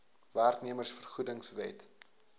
werknemers vergoedings wet